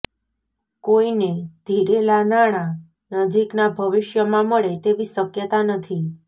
કોઇને ધીરેલાં નાણાં નજીકના ભવિષ્યમાં મળે તેવી શક્યતા નથી